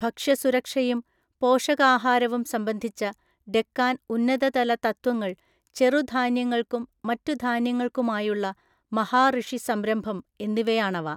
ഭക്ഷ്യ സുരക്ഷയും പോഷകാഹാരവും സംബന്ധിച്ച ഡെക്കാൻ ഉന്നത തല തത്വങ്ങൾ ചെറുധാന്യങ്ങൾക്കും മറ്റു ധാന്യങ്ങൾക്കുമായുള്ള മഹാഋഷി സംരംഭം എന്നിവയാണവ.